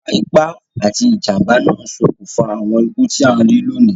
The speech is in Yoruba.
Ìwa ipá ati ìjànbá náà n sokùnfà àwon ikú ti a n ri loní